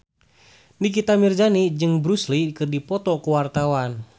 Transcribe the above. Nikita Mirzani jeung Bruce Lee keur dipoto ku wartawan